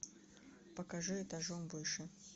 покажи этажом выше